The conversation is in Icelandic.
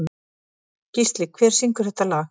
Gísli, hver syngur þetta lag?